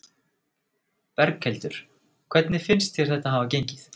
Berghildur: Hvernig finnst ykkur þetta hafa gengið?